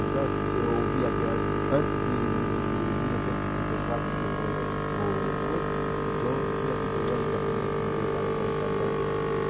Então, antes eu ouvia aquele... Antes de de de mil novecentos e sessenta e quatro, que foi o o coisa, então, tinha aqui programa japonês, inglês, alemão, italiano, francês.